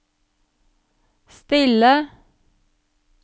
stille